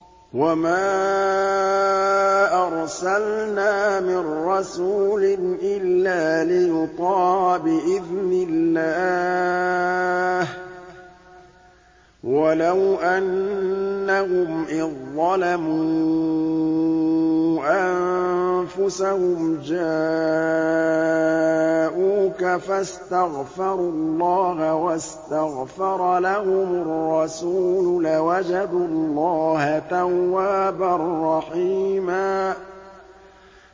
وَمَا أَرْسَلْنَا مِن رَّسُولٍ إِلَّا لِيُطَاعَ بِإِذْنِ اللَّهِ ۚ وَلَوْ أَنَّهُمْ إِذ ظَّلَمُوا أَنفُسَهُمْ جَاءُوكَ فَاسْتَغْفَرُوا اللَّهَ وَاسْتَغْفَرَ لَهُمُ الرَّسُولُ لَوَجَدُوا اللَّهَ تَوَّابًا رَّحِيمًا